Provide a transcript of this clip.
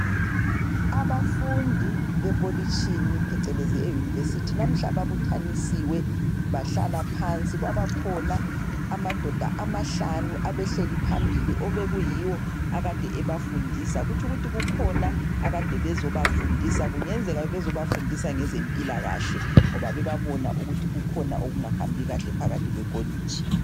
Abafundi bekolitshini phecelezi eyunivesithi namuhla babuthanisiwe bahlala phansi, kwabakhona amadoda amahlanu abehleli phambili ebekuyibo akade ebafundisa. Kutshukuthi kukhona akade bezobafundisa kungenzeka bebezebafundisa ngezempilakahle ngoba bebabona ukuthi kukhona okungahambi kahle phakathi kwekolitshi.